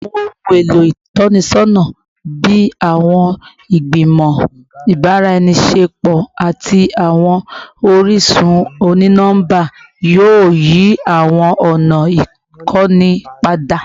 Awọn ohun elo itọnisọna bii awọn igbimọ ibaraenisepo ati awọn orisun oni-nọmba yoo yi awọn ọna ikọni pada